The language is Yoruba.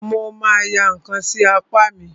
Mo ma ya ǹkan sí apá mi.